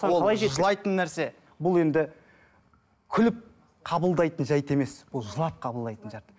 жылайтын нәрсе бұл енді күліп қабылдайтын жайт емес бұл жылап қабылдайтын жайт